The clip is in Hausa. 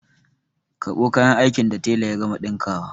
Karɓo kayan aikin da tela ya gama ɗinkawa!